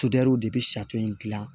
de bɛ in gilan